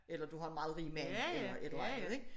Eller du har en meget rig mand eller et eller andet ik